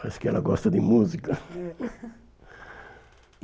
Parece que ela gosta de música.